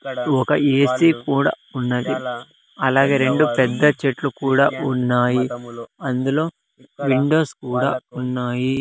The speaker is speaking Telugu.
ఒక ఏసీ కూడా ఉన్నది అలాగే రెండు పెద్ద చెట్లు కూడా ఉన్నాయి అందులో విండోస్ కూడా ఉన్నాయి.